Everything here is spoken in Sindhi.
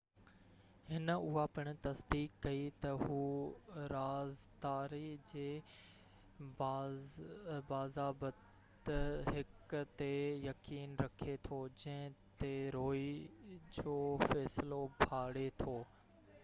هن اها پڻ تصديق ڪئي ته هُو رازداري جي باضابطه حق تي يقين رکي ٿو جنهن تي روئي جو فيصلو ڀاڙي ٿو